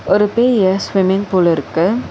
ஒரு பெரிய swimming pool இருக்கு.